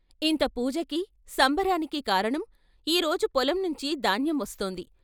ఇంత పూజకీ, సంబరానికి కారణం ఈ రోజు పొలం నుంచి దాన్యం వస్తోంది.